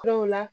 Kuraw la